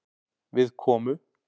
Við komu